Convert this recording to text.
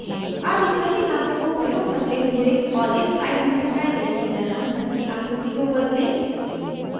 अब सही नापों को प्रयोग करते हैं और इस slide में दिखाए गए की तरह घर की आकृति को बदलें